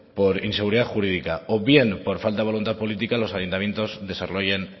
por inseguridad jurídica o bien por falta de voluntad política los ayuntamientos desarrollen